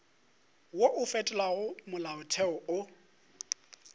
wo o fetolago molaotheo o